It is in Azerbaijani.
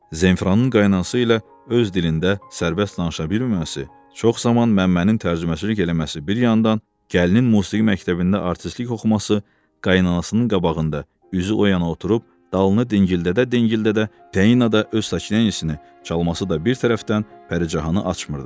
Zenfiranın qaynanası ilə öz dilində sərbəst danışa bilməməsi, çox zaman Məmmənin tərcüməçilik eləməsi bir yandan, gəlinin musiqi məktəbində artistlik oxuması, qaynanasının qabağında üzü oyana oturub dalını dingildədə-dingildədə, Təina da öz saksini çalması da bir tərəfdən Pəricanı açmırdı.